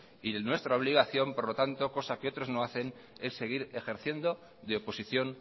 y nuestra obligación por lo tanto cosa que otros no hacen es seguir ejerciendo de oposición